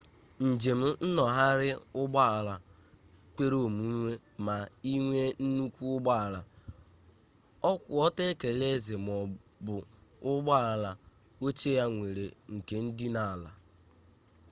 njem nnọgharị ụgbọala kwere omume ma i nwee nnukwu ụgbọala ọkwụ ọtọ ekele eze maọbụ ụgbọala oche ya nwere ike idina ala